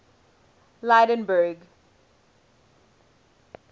lydenburg